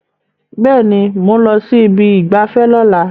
Bẹ́ẹ̀ ni, mò ń lọ sí ibi ìgbafẹ́ lọ́la